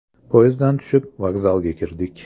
Poyezddan tushib, vokzalga kirdik.